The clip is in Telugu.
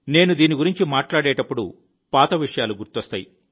నేను దీని గురించి మాట్లాడేటప్పుడు పాత విషయాలు గుర్తొస్తాయి